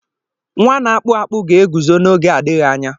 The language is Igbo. Nwa na-akpụ akpụ ga-eguzo n'oge adịghị anya.